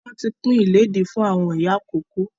Wọn tí pin ilẹ́di fún àwọn ìyá ìkókó